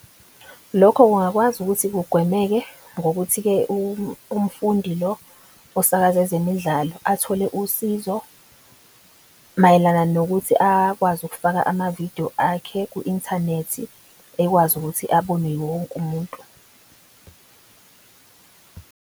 Lokho kungakwazi ukuthi kugwemeke ngokuthi ke umfundi lo osakaza ezemidlalo athole usizo mayelana nokuthi akwazi ukufaka amavidiyo akhe ku-inthanethi. Ekwazi ukuthi abonwe yiwo wonke umuntu.